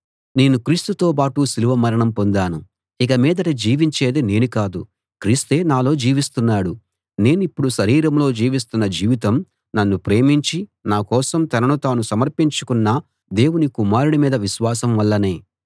నేను క్రీస్తుతోబాటు సిలువ మరణం పొందాను ఇక మీదట జీవించేది నేను కాదు క్రీస్తే నాలో జీవిస్తున్నాడు నేనిప్పుడు శరీరంలో జీవిస్తున్న జీవితం నన్ను ప్రేమించి నా కోసం తనను తాను సమర్పించుకున్న దేవుని కుమారుడి మీద విశ్వాసం వల్లనే